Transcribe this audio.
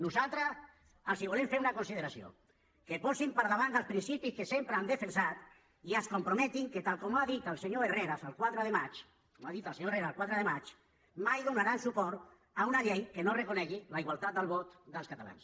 nosaltres els volem fer una consideració que posin per davant els principis que sempre han defensat i es comprometin que tal com ha dit el senyor herrera el quatre de maig tal com ha dit el senyor herrera el quatre de maig mai donaran suport a una llei que no reconegui la igualtat del vot dels catalans